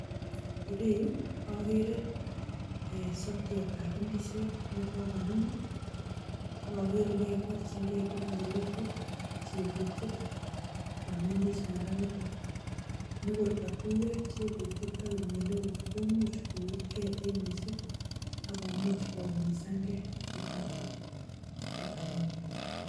Ireyu agere sokiot ab indisiot nekogonu, agagere barchingei kipnyelegut ak chebutiet kuam indisiondonitok. Nigor katuiyo kipnyelegut ak chebutiet komuch koutkei eng missing akomuch koumisangei chuton tugul kibagenge.